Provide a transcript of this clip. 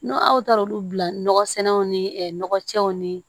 N'o aw taara olu bila nɔgɔsɛnw ni ɛ nɔgɔcɛw nii